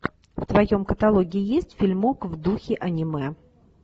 в твоем каталоге есть фильмок в духе аниме